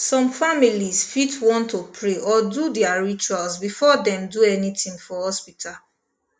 some families fit want to pray or do their rituals before dem do anything for hospital